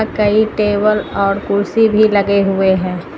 कई टेबल और कुर्सी भी लगे हुए है।